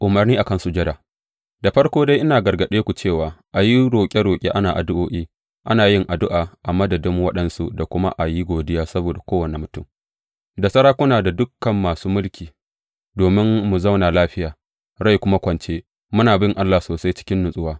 Umarnai a kan sujada Da farko dai, ina gargaɗe ku cewa a yi roƙe roƙe, ana addu’o’i, ana yin addu’a a madadin waɗansu da kuma a yi godiya saboda kowane mutum da sarakuna da dukan masu mulki, domin mu zauna lafiya, rai kuma kwance, muna bin Allah sosai a cikin natsuwa.